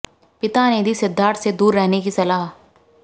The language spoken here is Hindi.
पिता ने दी सिद्धार्थ से दूर रहने की सलाह